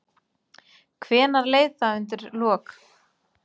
Hvenær leið það undir lok?